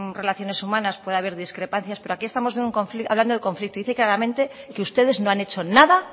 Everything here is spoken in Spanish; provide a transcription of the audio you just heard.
relaciones humanas puede haber discrepancias pero aquí estamos hablando de conflicto dice claramente que ustedes no han hecho nada